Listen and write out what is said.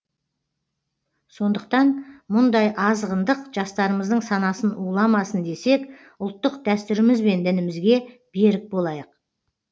сондықтан мұндай азғындық жастарымыздың санасын уламасын десек ұлттық дәстүріміз бен дінімізге берік болайық